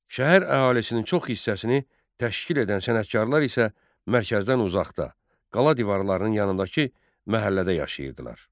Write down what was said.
Şəhər əhalisinin çox hissəsini təşkil edən sənətkarlar isə mərkəzdən uzaqda, qala divarlarının yanındakı məhəllədə yaşayırdılar.